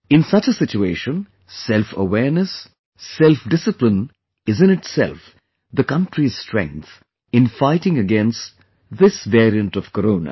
In such a situation, selfawareness, selfdiscipline is in itself the country's strength in fighting against this variant of Corona